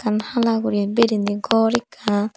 hala guri bereyni gor ekkan.